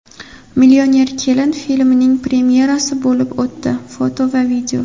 "Millioner kelin" filmining premyerasi bo‘lib o‘tdi (foto va video).